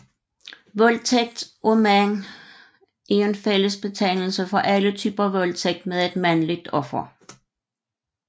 Voldtægt af mænd er en fællesbetegnelse for alle typer voldtægt med et mandligt offer